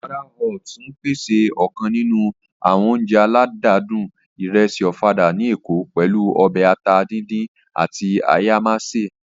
Ọ̀fadà Hut ń pèsè ọ̀kan nínú àwọn oúnjẹ aládùn ìrẹsì Ọ̀fadà ní èkó, pẹ̀lú ọbẹ̀ ata díndín àti ayámásè